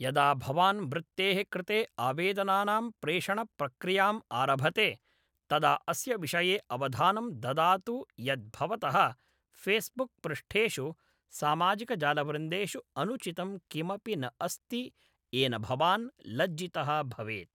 यदा भवान् वृत्तेः कृते आवेदनानां प्रेषणप्रक्रियाम् आरभते तदा अस्य विषये अवधानं ददातु यत् भवतः फ़ेस्बुक् पृष्ठेषु सामाजिकजालवृन्देेषु अनुचितं किमपि न अस्ति येन भवान् लज्जितः भवेत्।